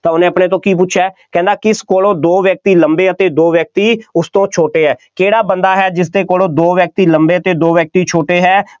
ਤਾਂ ਉਹਨੇ ਆਪਣੇ ਤੋਂ ਕੀ ਪੁੱਛਿਆ, ਕਹਿੰਦਾ ਕਿਸ ਕੋਲੋਂ ਦੋ ਵਿਅਕਤੀ ਲੰਬੇ ਅਤੇ ਦੋ ਵਿਅਕਤੀ ਉਸ ਤੋਂ ਛੋਟੇ ਹੈ, ਕਿਹੜਾ ਬੰਦਾ ਹੈ ਜਿਸਦੇ ਕੋਲੋਂ ਦੋ ਵਿਅਕਤੀ ਲੰਬੇ ਅਤੇ ਦੋ ਵਿਅਕਤੀ ਛੋਟੇ ਹੈ,